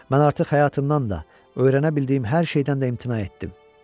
Mən artıq həyatımdan da, öyrənə bildiyim hər şeydən də imtina etdim.